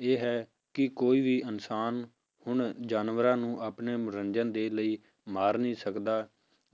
ਇਹ ਹੈ ਕਿ ਕੋਈ ਵੀ ਇਨਸਾਨ ਹੁਣ ਜਾਨਵਰਾਂ ਨੂੰ ਆਪਣੇ ਮਨੋਰੰਜਨ ਦੇ ਲਈ ਮਾਰ ਨਹੀਂ ਸਕਦਾ